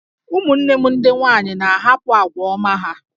Ụmụnne m ndị nwanyị na-ahapụ àgwà ọma ha